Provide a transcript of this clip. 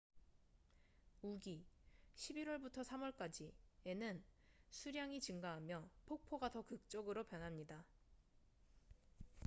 우기11월부터 3월까지에는 수량이 증가하며 폭포가 더 극적으로 변합니다